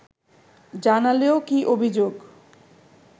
জানালেও কী অভিযোগ